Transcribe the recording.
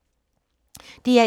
DR1